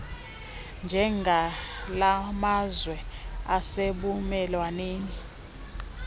njengala mazwe asebumelwaneni